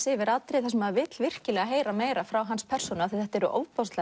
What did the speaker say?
yfir atriði sem maður vill heyra heyra frá hans persónu þetta eru